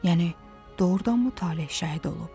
Yəni doğrudanmı Taleh şəhid olub?